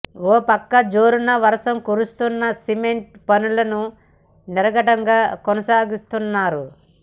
ఓపక్క జోరున వర్షం కురుస్తున్నా సిమెంట్ పనులను నిరాఘాటంగా కొనసాగిస్తున్నారు